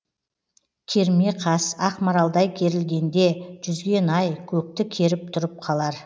керме қас ақмаралдай керілгенде жүзген ай көкті керіп тұрып қалар